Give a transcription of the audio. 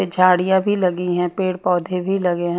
झाड़ियां भी लगी हैं पेड़ पौधे भी लगे हैं।